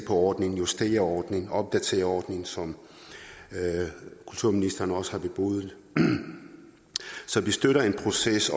ordningen justere ordningen opdatere ordningen som kulturministeren også har bebudet så vi støtter en proces